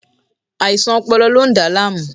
Aisan ọpọlọ lo n da laamu